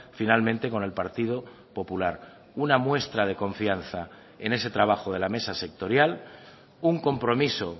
finalmente con el partido popular una muestra de confianza en ese trabajo de la mesa sectorial un compromiso